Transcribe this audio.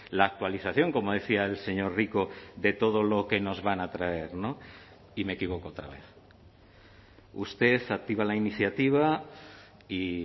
la actualización como decía el señor rico de todo lo que nos van a traer y me equivoco otra vez usted activa la iniciativa y